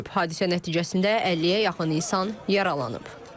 Hadisə nəticəsində 50-yə yaxın insan yaralanıb.